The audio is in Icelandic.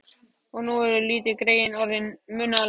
Og nú eru litlu greyin orðin munaðarlaus.